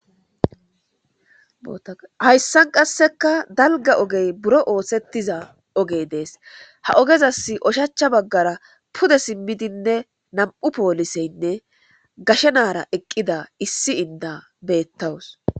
Hayssan qasseka dalga ogey buro osetiza dees. Ha ogezani oshacha bagara pude simi eqida nam'u poliseynne gashe naara eqida eqida issi inda beetawus.